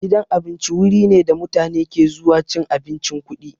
Gidan abinci wuri ne da mutane ke zuwa cin abincin kuɗi.